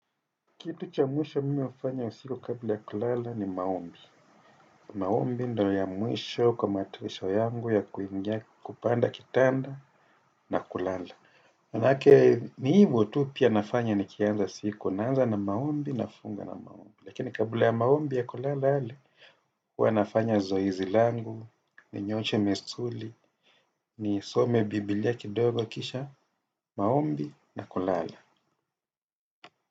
Kitu cha mwisho mimi hufanya usiku kabla ya kulala ni maombi. Maombi ndio ya mwisho kwa matayarisho yangu ya kuingia kupanda kitanda na kulala. Maana yake ni hivyo tu pia nafanya ni kianza siku naanza na maombi na funga na maombi. Lakini kabla ya maombi ya kulala hali huwa nafanya zoizi langu, ni nyoshe misuli, ni some Biblia kidogo kisha maombi na kulala.